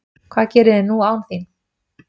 Hvað geri ég nú án þín?